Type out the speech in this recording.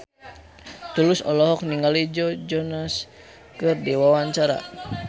Tulus olohok ningali Joe Jonas keur diwawancara